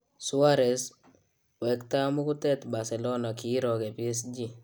Suarez: Wektaa muketut Barcelona kirooke PSG